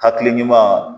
Hakili ɲuman